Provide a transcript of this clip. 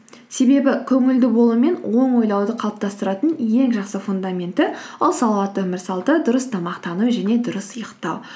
себебі көңілді болу мен оң ойлауды қалыптастыратын ең жақсы фундаменті ол салауатты өмір салты дұрыс тамақтану және дұрыс ұйықтау